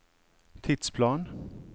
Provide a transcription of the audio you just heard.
tidsplan